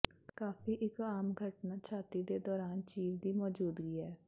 ਕਾਫੀ ਇੱਕ ਆਮ ਘਟਨਾ ਛਾਤੀ ਦੇ ਦੌਰਾਨ ਚੀਰ ਦੀ ਮੌਜੂਦਗੀ ਹੈ